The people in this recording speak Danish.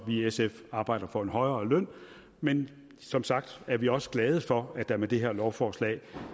i sf arbejder får en højere løn men som sagt er vi også glade for at der med det her lovforslag